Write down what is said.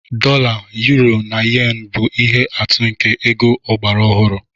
Dolla, uro, na yen bụ ihe atụ nke ego ọgbara ọhụrụ.